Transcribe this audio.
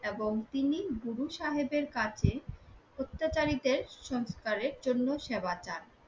এবং তিনি গুরু সাহেবের কাছে অত্যাচারীদের সৎকার জন্য সেবা চান।